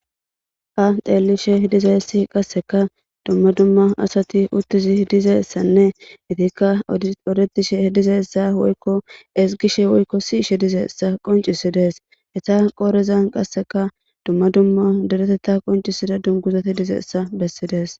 Ha xeellishe dizessi qasseka dumma dumma asati uttizi dizessanne itikka odetishe dizeessa woykko esgishe woykko si ishe dizeessa qoncisidees eta qoorezan qasseka dumma dumma dereteta qoncisida dunguzati dizeessa bessidees.